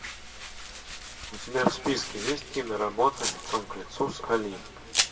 у тебя в списке есть киноработа лицом к лицу с али